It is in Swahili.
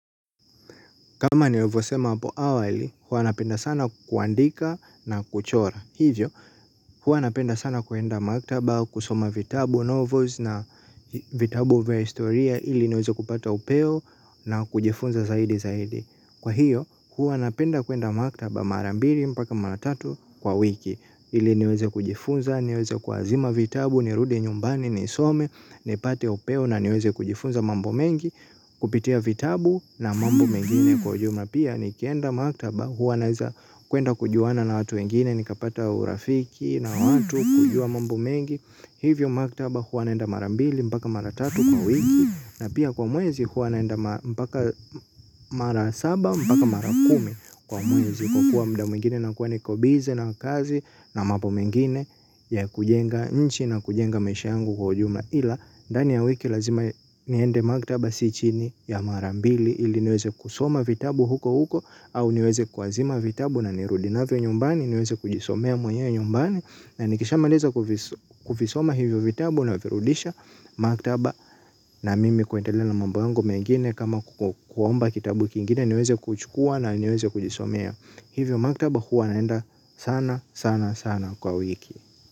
Kama nimevyo sema hapo awali, huwa napenda sana kuandika na kuchora. Hivyo, huwa napenda sana kuenda maktaba, kusoma vitabu, novels na vitabu vya historia ili niweze kupata upeo na kujifunza zaidi zaidi. Kwa hiyo, huwa napenda kuenda maktaba marambili mpaka maratatu kwa wiki. Ili niweze kujifunza, niweze kuazima vitabu, ni ruie nyumbani, ni some, ni pate upeo na niweze kujifunza mambo mengi. Kupitia vitabu na mambo mengine kwa ujumla pia ni kienda maktaba huwa naweza kuenda kujuana na watu wengine. Ni kapata urafiki na watu kujua mambo mengi. Hivyo maktaba huwa naenda marambili mpaka maratatu kwa wiki. Na pia kwa mwezi huwa naenda mpaka mara saba mpaka mara kumi. Kwa mwezi kwa kuwa muda mwingine na kuwa niko busy na kazi na mambo mengine ya kujenga nchi na kujenga maisha yangu kwa ujumla ila ndani ya wiki lazima niende maktaba si chini ya marambili ili niweze kusoma vitabu huko huko au niweze kuazima vitabu na nirudi navyo nyumbani niweze kujisomea mwenyewe nyumbani na nikisha maliza kuvisoma hivyo vitabu na virudisha maktaba na mimi kuendelea mambo yangu mengine kama kuomba kitabu kingine niweze kuchukua na niweze kujisomea. Hivyo maktaba huwa naenda sana sana sana kwa wiki.